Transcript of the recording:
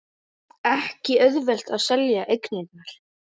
Ekki auðvelt að selja eignirnar